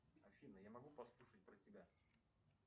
афина я могу послушать про тебя